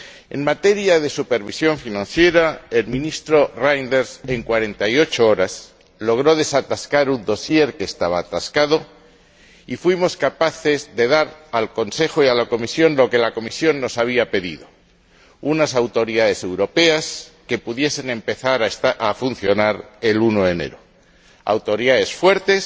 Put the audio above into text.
En materia de supervisión financiera, el Ministro Reynders, en 48 horas, logró desatascar un dosier que estaba atascado y fuimos capaces de dar al Consejo y a la Comisión lo que la Comisión nos había pedido unas autoridades europeas que pudiesen empezar a funcionar el 1 de enero de 2011, autoridades fuertes,